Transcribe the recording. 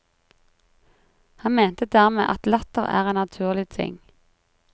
Han mente dermed at latter er en naturlig ting.